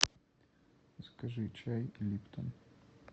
закажи чай липтон